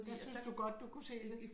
Der synes du godt du kunne se